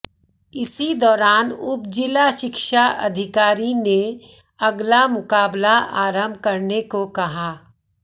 इसी दौरान उप जिला शिक्षा अधिकारी ने अगला मुकाबला आरंभ करने को कहा